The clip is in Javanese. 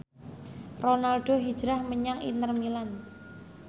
Ronaldo hijrah menyang Inter Milan